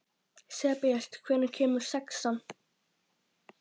Sebastían, hvenær kemur sexan?